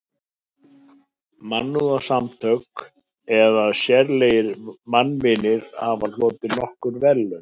Mannúðarsamtök eða sérlegir mannvinir hafa hlotið nokkur verðlaun.